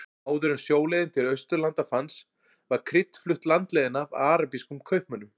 Áður en sjóleiðin til Austurlanda fannst var krydd flutt landleiðina af arabískum kaupmönnum.